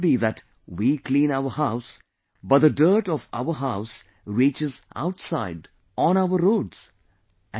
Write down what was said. It should not be that we clean our house, but the dirt of our house reaches outside, on our roads